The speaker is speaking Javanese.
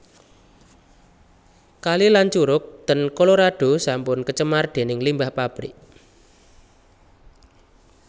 Kali lan curug ten Colorado sampun kecemar dening limbah pabrik